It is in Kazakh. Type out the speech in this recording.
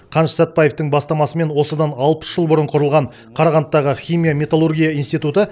қаныш сәтбаевтың бастамасымен осыдан алпыс жыл бұрын құрылған қарағандыдағы химия металлургия институты